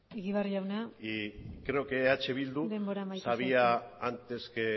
egibar jauna denbora amaitu zaizu y creo que eh bildu sabía antes